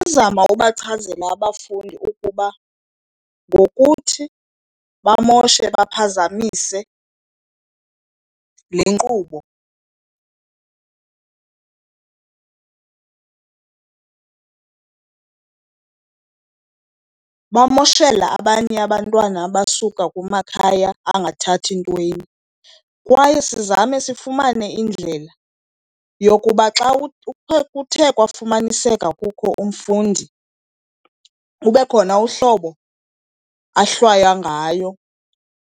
Ndingazama ubachazela abafundi ukuba ngokuthi bamoshe baphazamise le nkqubo bamoshela abanye abantwana abasuka kumakhaya angathathi ntweni. Kwaye sizame sifumane indlela yokuba xa kuthe kwafumaniseka kukho umfundi kube khona uhlobo ahlwaywa ngayo.